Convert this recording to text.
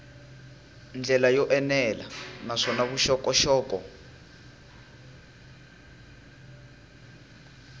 ndlela yo enela naswona vuxokoxoko